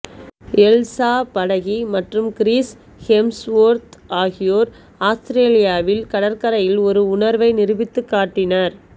Elsa Pataky மற்றும் Chris Hemsworth ஆகியோர் ஆஸ்திரேலியாவில் கடற்கரையில் ஒரு உணர்வை நிரூபித்துக் காட்டினர்